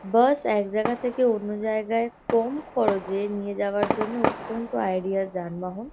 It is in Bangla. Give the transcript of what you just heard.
বাস এক জায়গা থেকে অন্য জায়গায় কম খরচে নিয়ে যাওয়ার জন্যে অত্যন্ত আইডিয়াল যানবাহন।